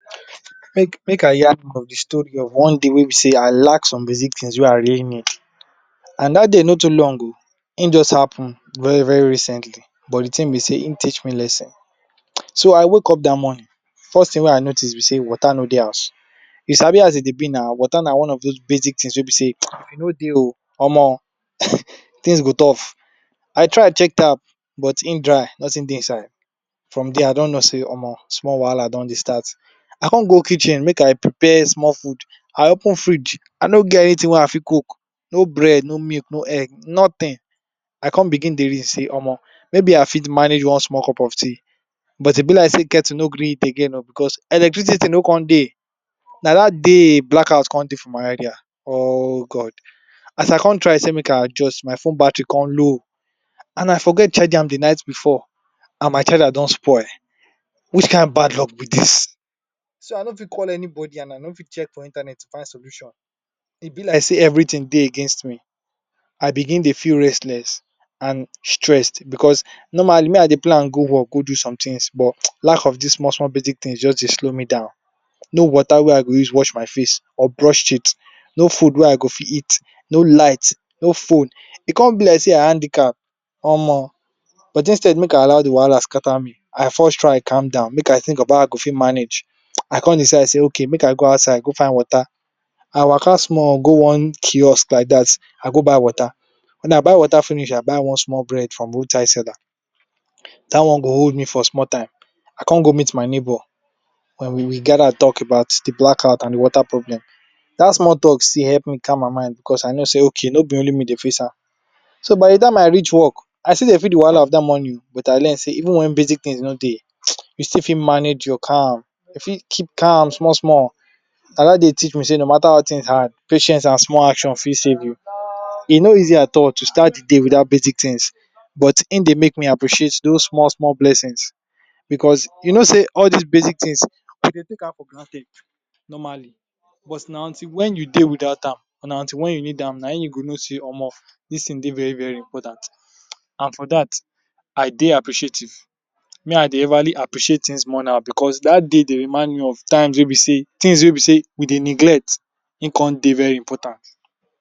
How u dey take care of your self wen anxiety don catch you? For me anxiety na something wey be sey e fit shake anybody but if u no sabi how u go take handle am Omo hin big, hin fit turn something wey big, for me if anxiety don dey knock my door like dis I dey try do small things to calm my mind and take care of my self so dat hin no go scatter me finish, first thing wey I go do na sey I go first stop and breathe, sometimes make I just cool down my breathing dey help me balance my body and mind I go take deep breath inside, I go hold am small, I go con release am, once I don repeat dat thing a few times, until I begin feel I get small relieve, e go feel like dey my brain don dey set for all de walaha mode, next thing wey I go do b sey, I dey try reason de anxiety like Wetin dey even cause am, where e dey come from, sometimes anxiety dey blow something wey big, from small wahala like anything, something wey be sey e no too relevant like dat, u go jus turn am to big thing, or u go dey worry about something wey no too get condition, so once me I don sabi Wetin dey cause de stress like dis hin go dey easier for me to handle, I fit write down my thoughts or talk to persin wey I trust to share my mind, talking out loud for reduce di load from my head, sometimes I fit change environment small, if I dey my house I fit step outside, fresh air too dey help cool my body and my mind, I go also try do small work or stretch just to reduce ten sion from my muscles, physical movement na good way wey u fit shake off negative energy and hin dey make my body dey relax, I fit lis ten soft and calm songs wey fit sooth my soul, because music get power to lift your mood, and even tho even tho no be sey, I know no be every kind music dey help you I still gatz utilize am, some pipu prefer meditation music or calm music, oda pipu prefer let’s say soul or RNB it depends which ever one suits u, and some pipu dey also use prayers to help dem find dia peace. At di end of di day, one size no fit all na Wetin for you you go use, another thing wey I dey try avoid, I dey try avoid things wey be dey um for make my anxiety worse, for example social media stress, baggage or even caffeine, too much caffeine hin fit increase my anxiety um, and I dey try eat well and sleep enough because if my body dey tired like dis anxiety fit worse.